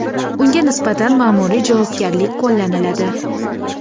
unga nisbatan ma’muriy javobgarlik qo‘llaniladi.